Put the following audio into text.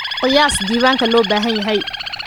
Qiyaas diiwaanka loo baahan yahay.